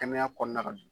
Kɛnɛya kɔɔna la